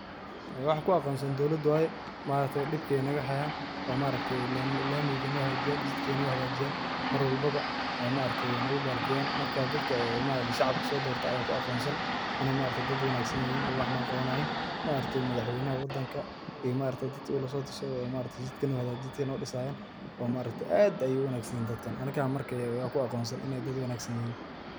Ee waxaa ku aqoonsan dowlada waye dibka ayeey naga haayan, maaragte lamiga noo hagaajiyaan, marwalbo ba maaragte, marka dadka shacabka soo dorte ayaa ku aqoonsan, inaay maaragte dad wanagsan yihiin oo wax noo qabanayiin, maaragte madax weynaha dalka iyo maaragte dad uu lasoo tashade jidka noo disayaan oo maaragte aad ayeey uwanagsan yihiin dadkaan, marka mark yaa ku aqoonsan inaay dad wanagsan yihiin.